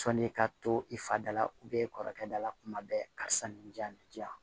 Sɔni ka to i fa da la e kɔrɔkɛ da la kuma bɛɛ karisa nin di yan nin di yan